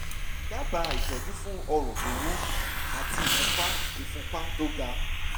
dábàá ìtọ́jú fún ọrùn tó wú àti ìfúnpá ìfúnpá tó ga